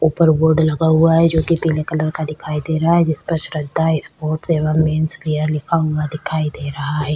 ऊपर बोर्ड लगा हुआ है जोकि पीले कलर का दिखाई दे रहा है जिसपर श्रधा स्पोर्टस एवम मेंस वियर लिखा हुआ दिखाई दे रहा हैं।